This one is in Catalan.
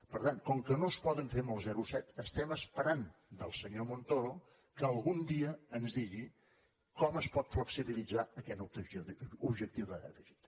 per tant com que no es poden fer amb el zero coma set estem esperant del senyor montoro que algun dia ens digui com es pot flexibilitzar aquest objectiu de dèficit